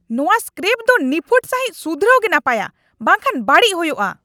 ᱱᱚᱶᱟ ᱥᱠᱨᱮᱯ ᱫᱚ ᱱᱤᱯᱷᱩᱴ ᱥᱟᱹᱦᱤᱡ ᱥᱩᱫᱷᱨᱟᱹᱣ ᱜᱮ ᱱᱟᱯᱟᱭᱟ, ᱵᱟᱝ ᱠᱷᱟᱱ ᱵᱟᱹᱲᱤᱡ ᱦᱳᱭᱳᱜᱼᱟ !